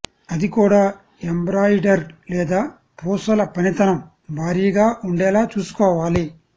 అది కూడా ఎంబ్రాయిడరీ లేదా పూసల పనితనం భారీగా ఉండేలా చూసుకోవాలి